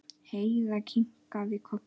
Heiða kinkaði kolli.